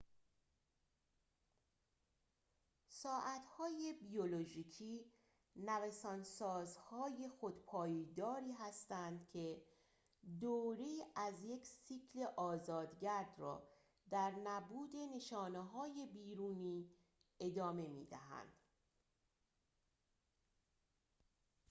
ساعت‌های بیولوژیکی نوسان‌سازهای خودپایداری هستند که دوره‌ای از یک سیکل آزاد‌گرد را در نبود نشانه‌های بیرونی ادامه می‌دهند